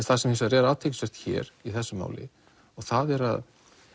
það sem hins vegar er athyglisvert hér í þessu máli það er að